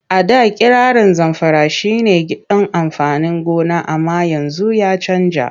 A da kirarin Zamfara shi ne gidan amfanin gona amma yanzu ya canja.